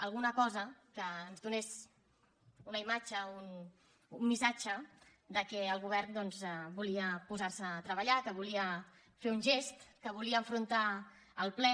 alguna cosa que ens donés una imatge un missatge que el govern doncs volia posar se a treballar que volia fer un gest que volia enfrontar el ple